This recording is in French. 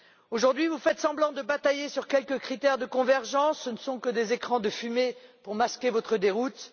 Aujourd'hui, vous faites semblant de batailler sur quelques critères de convergence, ce ne sont que des écrans de fumée pour masquer votre déroute.